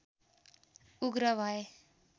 उग्र भए